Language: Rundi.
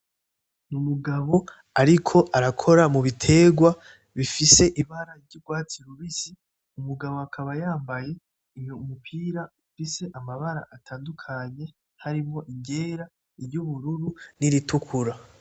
Ni umugabo ariko arakora mubitegwa bifise ibara ry'ugwatsi rubisi umugabo akaba yambaye umupira ufise amabara atandukanye harimwo iryera, iryubururu n'iritukura.